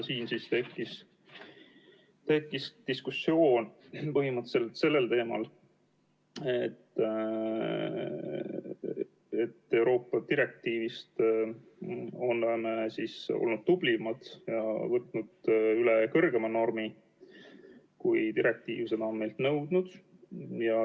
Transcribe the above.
Siin tekkis diskussioon sellel teemal, et Euroopa direktiivist oleme me olnud tublimad ja võtnud üle kõrgema normi, kui direktiiv on meilt nõudnud.